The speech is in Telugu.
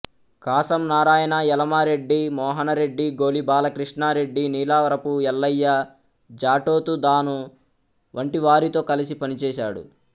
కాసం నారాయణ ఎలమరెడ్డి మోహనరెడ్డి గోలి బాల కృష్ణారెడ్డి నీలారపు ఎల్లయ్య జాటోతు థాను వంటివారితో కలసి పనిచేశాడు